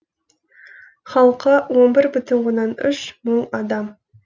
халқы он бір бүтін оннан үш мың адам